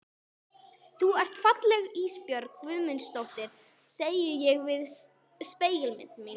Þú ert falleg Ísbjörg Guðmundsdóttir, segi ég við spegilmyndina.